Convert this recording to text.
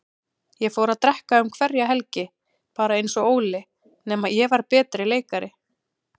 Ég fór að drekka um hverja helgi, bara einsog Óli, nema ég var betri leikari.